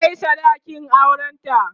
an Kai sadakin auran ta